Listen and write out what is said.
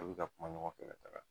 A bi ka kuma ɲɔgɔn fɛ ka taga.